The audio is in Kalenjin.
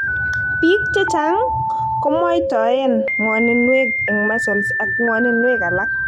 Biik chechang' komwoitoen ng'woninwek en muscles ak ng'woninwek alak